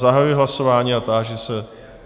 Zahajuji hlasování a táži se.